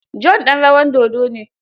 John ɗan rawar dodo ne.